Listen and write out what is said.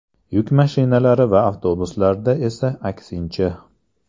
Yuk mashinalari va avtobuslarda esa aksincha.